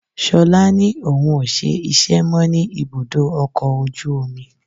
Ṣolá ni òun ó ṣe iṣẹ́ mó ní ibùdó ọkọ̀ ojú omi.